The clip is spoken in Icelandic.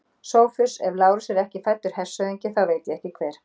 SOPHUS: Ef Lárus er ekki fæddur hershöfðingi, þá veit ég ekki hver.